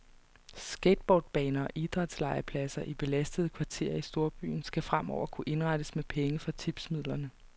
Skateboardbaner og idrætslegepladser i belastede kvarterer i storbyen skal fremover kunne indrettes med penge fra tipsmidlerne.